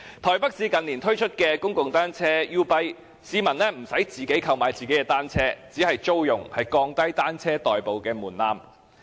台北市近年推出公共單車租賃計劃 "YouBike"， 市民不用自行購買單車，只是租用，降低以單車代步的門檻。